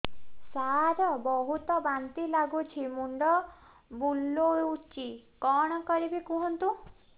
ସାର ବହୁତ ବାନ୍ତି ଲାଗୁଛି ମୁଣ୍ଡ ବୁଲୋଉଛି କଣ କରିବି କୁହନ୍ତୁ